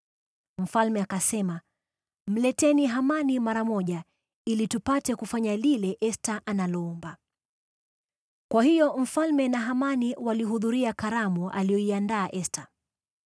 Mfalme akasema, “Mleteni Hamani mara moja, ili tupate kufanya lile Esta analoomba.” Kwa hiyo mfalme na Hamani walihudhuria karamu aliyoiandaa Esta.